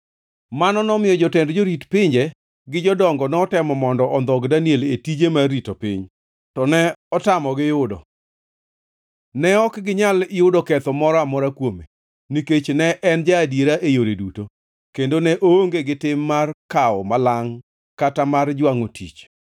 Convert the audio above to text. Mano nomiyo jotend jorit pinje gi jodongo notemo mondo ondhog Daniel e tije mar rito piny, to ne otamogi yudo. Ne ok ginyal yudo ketho moro amora kuome, nikech ne en ja-adiera e yore duto, kendo ne oonge gi tim mar kawo malangʼ, kata mar jwangʼo tich.